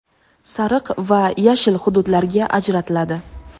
sariq va yashil hududlarga ajratiladi.